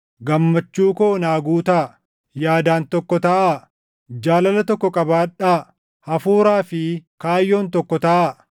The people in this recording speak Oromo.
gammachuu koo naa guutaa; yaadaan tokko taʼaa; jaalala tokko qabaadhaa; hafuuraa fi kaayyoon tokko taʼaa.